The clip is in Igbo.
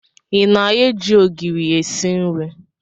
Ị na-eji ogiri esi nri?